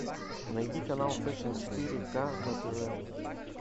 найди канал фэшн четыре ка на тв